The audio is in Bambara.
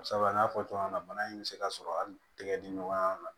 Sabula n y'a fɔ cogoya min na bana in bɛ se ka sɔrɔ hali tɛgɛ di ɲɔgɔn ma